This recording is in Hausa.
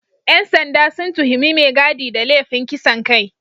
‘Yan sanda sun tuhumi mai gadi da laifin kisan kai